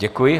Děkuji.